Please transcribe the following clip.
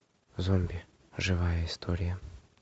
зомби живая история